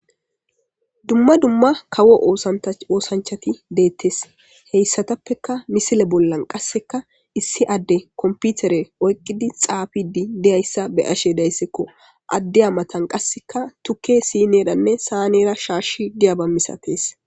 Duma duma kawo osanchati detees hesatappeka misile bolla qassika issi adde kompitere oyikidi xafidi diyasa be,ashe dayisiko adiya matan qasika tuke siners shashi sanera diyaba masates